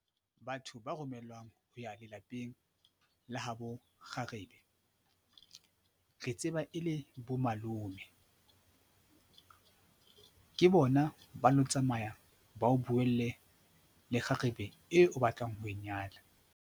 Batho ba romellwang ho ya lelapeng la ha bo kgarebe re tseba e le bomalome, ke bona ba lo tsamaya ba o buelle le kgarebe eo o batlang ho e nyala.